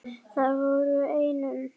Það voru enn um